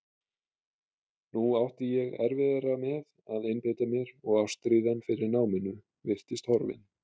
Nú átti ég erfiðara með að einbeita mér og ástríðan fyrir náminu virtist horfin.